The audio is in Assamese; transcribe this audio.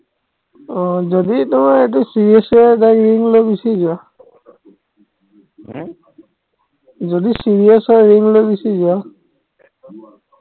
আহ যদি তোমাৰ এইটো serious কে হয় এটা ring লৈ গুচি যোৱা হম যদি serious হয় ring লৈ গুচি যোৱা